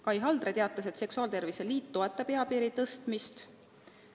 Kai Haldre teatas, et seksuaaltervise liit toetab eapiiri tõstmist.